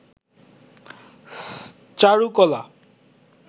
চারুকলা